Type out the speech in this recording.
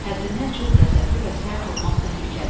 Həddindən çox qəzəbli və sərt olmaq təhlükəlidir.